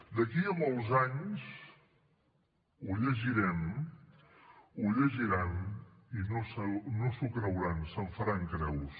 d’aquí a molts anys ho llegirem ho llegiran i no s’ho creuran se’n faran creus